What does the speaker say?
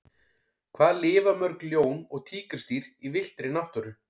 Hvað lifa mörg ljón og tígrisdýr í villtri náttúru?